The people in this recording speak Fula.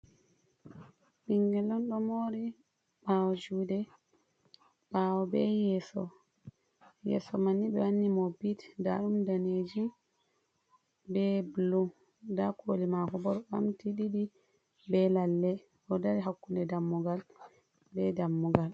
Ɓingel on ɗo moori ɓaawo juude ɓaawo bee yeeso, ndaa ɗum ɓe waɗani mo bit maajum daneeji bee bulu ndaa kooli maako boo ɗon ɓamti ɗiɗi bee lalle o dari hakkunde dammugal bee dammugal.